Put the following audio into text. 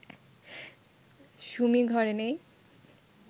সুমি ঘরে নেই